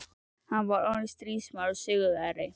Hann var orðinn stríðsmaður og sigurvegari.